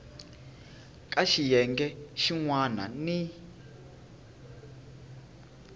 ka xiyenge xin wana ni